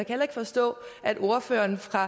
heller ikke forstå at ordføreren fra